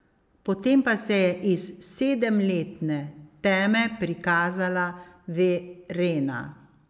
Potem pa se je iz sedemletne teme prikazala Verena.